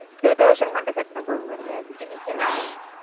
two thousand மட்டும் கட்டினா போதுமா sir amount